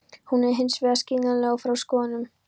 Hún er hins vegar skiljanleg út frá skoðunum.